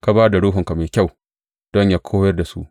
Ka ba da Ruhunka mai kyau don yă koyar da su.